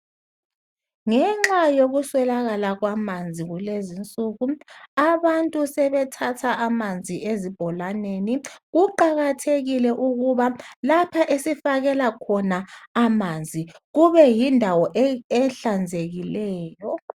Ngenxa yokuswelakala kwamanzi kulezinsuku abantu sebethatha amanzi ezibholaneni kuqakathekile ukuba lapho esifakela khona amanzi kube yindawo ehlanzekileyo